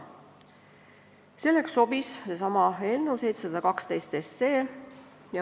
Selleks sobis seesama eelnõu 712.